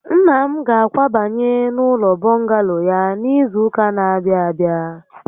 Nna m ga-akwabanye n'ụlọ bọngalo ya n'izu ụka n'abịa abịa